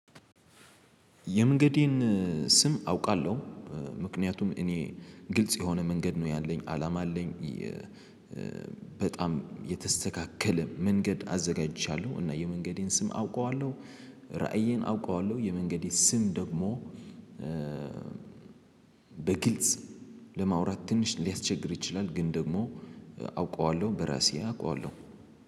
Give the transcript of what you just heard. የመንገዴን ስም አውቃለሁ ምክንያቱም እኔ ግልጽ የሆነ መንገድ ነው ያለኝ አላማ አለኝ። በጣም የተስተካከለ መንገድ አዘጋጅቻለሁ እና የመንገዴን ስም አውቀዋለሁ። ራእዬን አውቀዋለሁ የመንገዴ ስም ደግሞ። በግልጽ ለማውራት ትንሽ ሊያስቸግር ይችላል። ግን ደግሞ አውቀዋለሁ በራሴ አውቀዋለሁ።